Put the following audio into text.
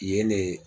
Yen de